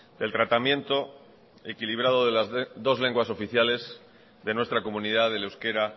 del tratamiento equilibrado de las dos lenguas oficiales de nuestra comunidad el euskera